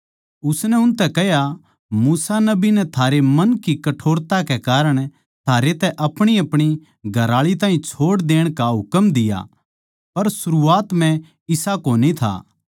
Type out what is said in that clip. उसनै उनतै कह्या मूसा नबी नै थारे मन की कठोरता कै कारण थारै तै अपणीअपणी घरआळी ताहीं छोड़ देण का हुकम दिया पर सरूआत म्ह इसा कोनी था